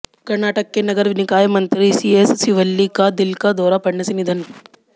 कर्नाटक के नगर निकाय मंत्री सीएस शिवल्ली का दिल का दौरा पड़ने से निधन